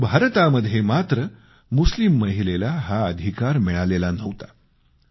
परंतु भारतात मात्र मुस्लिम महिलेला हा अधिकार मिळालेला नव्हता